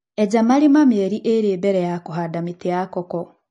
Eja marima mĩeri ĩrĩ mbere ya kũhanda mĩtĩ ya koko.